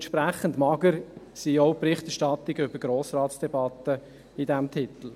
Entsprechend mager sind auch die Berichterstattungen über Grossratsdebatten in diesem Titel.